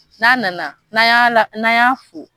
N'a nana na ya la n' an y'a fo.